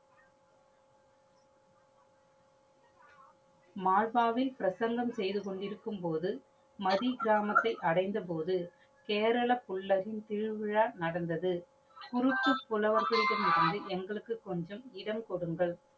மால்பாவை பிரசந்தம் செய்து கொண்டு இருக்கும் போது, மதி கிராமத்தை அடைந்த போது சேரலபுல்லரின் திருவிழா நடந்தது. குறுக்கு புலவர்களிடமிருந்து எங்களுக்கு கொஞ்சம் இடம் கொடுங்கள்.